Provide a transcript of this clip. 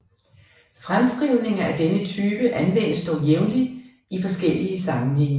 Fremskrivninger af denne type anvendes dog jævnligt i forskellige sammenhænge